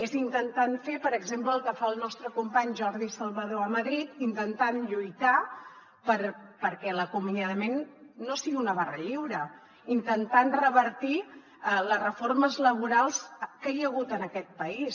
és intentant fer per exemple el que fa el nostre company jordi salvador a madrid intentant lluitar perquè l’acomiadament no sigui una barra lliure intentant revertir les reformes laborals que hi ha hagut en aquest país